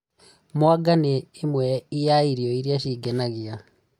Mwanga nĩ ĩmwe ya irio iria cingenagia